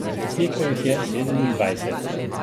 Naslikal jih je sedemindvajset.